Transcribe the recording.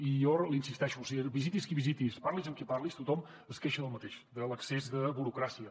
i jo l’hi insisteixo visitis qui visitis parlis amb qui parlis tothom es queixa del mateix de l’excés de burocràcia